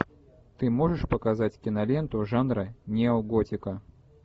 ты можешь показать киноленту жанра неоготика